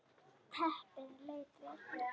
Teppið leit vel út.